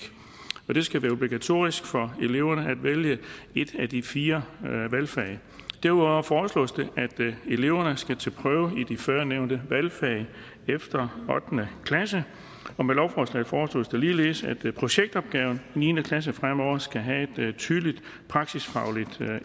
og det skal være obligatorisk for eleverne at vælge et af de fire valgfag derudover foreslås det at eleverne skal til prøve i de førnævnte valgfag efter ottende klasse og med lovforslaget foreslås det ligeledes at projektopgaven i niende klasse fremover skal have et tydeligt praksisfagligt